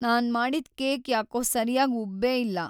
ನಾನ್ ಮಾಡಿದ್ ಕೇಕ್ ಯಾಕೋ ಸರ್ಯಾಗ್ ಉಬ್ಬೇ ಇಲ್ಲ.